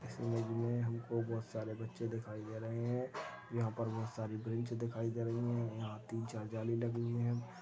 इस इमेज मे हमको बहोत सारे बच्चे दिखाई दे रहे है यहाँ पर बहोत सारी बेंच दिखाई दे रही है यहाँ तीन चार जाली लगी हुई है।